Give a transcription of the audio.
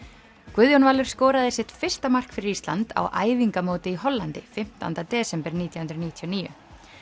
Guðjón Valur skoraði sitt fyrsta mark fyrir Ísland á æfingamóti í Hollandi fimmtánda desember nítján hundruð níutíu og níu